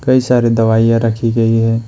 कई सारी दवाइयां रखी गई है।